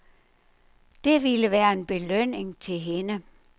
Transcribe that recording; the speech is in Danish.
Det ville være en belønning til hende.